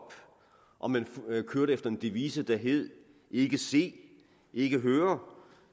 om man kørte efter en devise der hed ikke se ikke høre